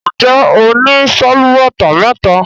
Njé ọ ní Sálúbàtà méta?